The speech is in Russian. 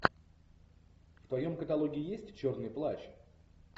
в твоем каталоге есть черный плащ